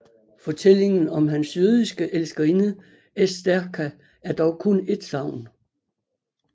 Fortællingen om hans jødiske elskerinde Estherka er dog kun et sagn